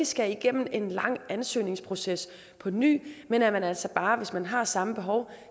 skal igennem en lang ansøgningsproces på ny men at man altså bare hvis man har samme behov